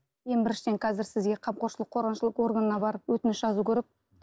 ең біріншіден қазір сізге қамқоршылық қорғаншылық органына барып өтініш жазу керек